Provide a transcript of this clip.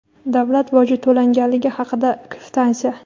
davlat boji to‘langanligi haqida kvitansiya.